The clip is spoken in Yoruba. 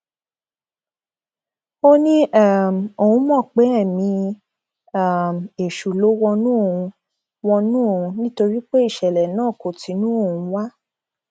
ó ní um òun mọ pé ẹmí um èṣù ló wọnú òun wọnú òun nítorí pé ìṣẹlẹ náà kò tinú òun wá